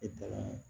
E taara